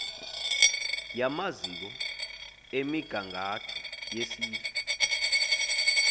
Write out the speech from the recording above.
yamaziko emigangatho yesizwe